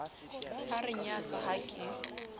a re nyatsa ha ke